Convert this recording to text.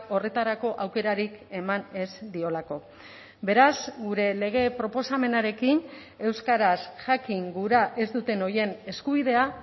horretarako aukerarik eman ez diolako beraz gure lege proposamenarekin euskaraz jakin gura ez duten horien eskubidea